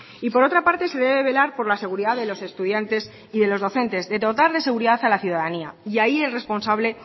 y por otra parte se debe velar por la seguridad de los estudiantes y de docentes de dotar de seguridad a la ciudadanía y ahí el responsable